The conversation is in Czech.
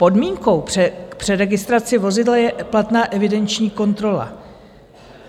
Podmínkou k přeregistraci vozidla je platná evidenční kontrola.